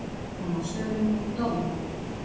Stökk fram af svölum og dó